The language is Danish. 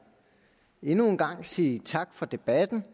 endnu en gang sige tak for debatten